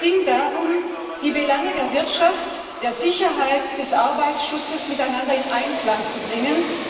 Es ging darum, die Belange der Wirtschaft, der Sicherheit und des Arbeitsschutzes miteinander in Einklang zu bringen.